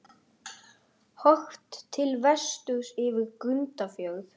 Horft til vesturs yfir Grundarfjörð.